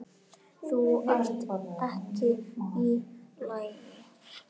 Þú ert ekki í lagi.